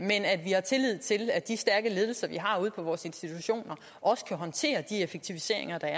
vi har tillid til at de stærke ledelser vi har ude på vores institutioner også kan håndtere de effektiviseringstiltag